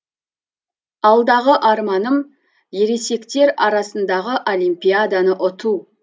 алдағы арманым ересектер арасындағы олимпиаданы ұту